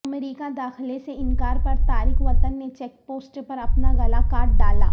امریکہ داخلے سے انکار پر تارک وطن نے چیک پوسٹ پر اپنا گلا کاٹ ڈالا